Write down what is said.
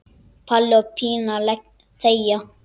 Palli og Pína þegja.